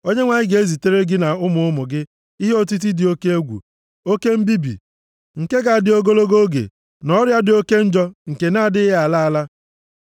Onyenwe anyị ga-ezitere gị na ụmụ ụmụ gị ihe otiti dị oke egwu, oke mbibi nke ga-adị ogologo oge, na ọrịa dị oke njọ nke na-adịghị ala ala.